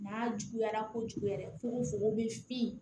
N'a juguyara kojugu yɛrɛ fokokofoko bɛ f